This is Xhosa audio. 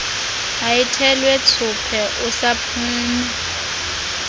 ayithelwe thsuphe usaphume